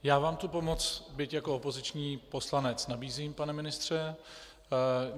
Já vám tu pomoc, byť jako opoziční poslanec, nabízím, pane ministře.